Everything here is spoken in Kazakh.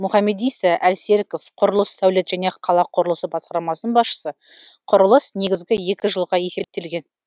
мұхамедиса әлсеріков құрылыс сәулет және қала құрылысы басқармасының басшысы құрылыс негізгі екі жылға есептелген